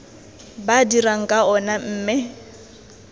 ba dirang ka ona mme